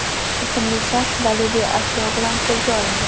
ismli shaxs daliliy ashyo bilan qo‘lga olingan.